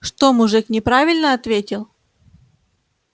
что мужик неправильно ответил